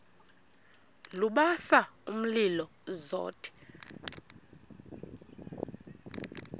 lubasa umlilo zothe